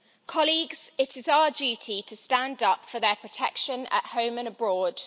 Colleagues, it is our duty to stand up for their protection at home and abroad.